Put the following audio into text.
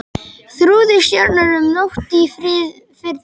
Þrúði stjörnur um nótt í Firðinum.